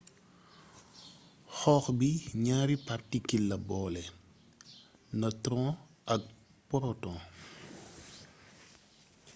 xoox bi ñaari partikil la boole nëtron ak poroton